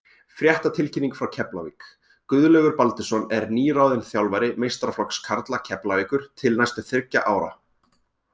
Fréttatilkynning frá Keflavík: Guðlaugur Baldursson er nýráðinn þjálfari meistaraflokks karla Keflavíkur til næstu þriggja ára.